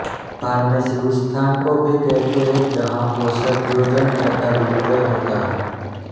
pharmacy उस स्थान को भी कहते हैं जहाँ औषधयोजन तथा विक्रय होता है